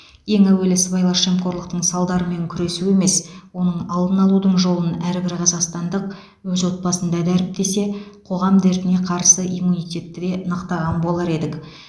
ең әуелі сыбайлас жемқорлықтың салдарымен күресу емес оның алдын алудың жолын әрбір қазақстандық өз отбасында дәріптесе қоғам дертіне қарсы иммунитетті де нықтаған болар едік